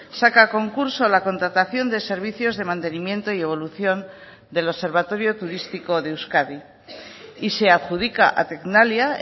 saca a concurso la contratación de servicios de mantenimiento y evolución del observatorio turístico de euskadi y se adjudica a tecnalia